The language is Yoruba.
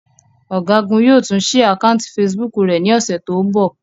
Ọ̀gágun yóò tún ṣí àkátì Facebook rẹ̀ ní ọ̀sẹ̀ tó ń bọ̀.